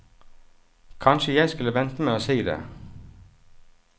Kanskje jeg skulle vente med å si det.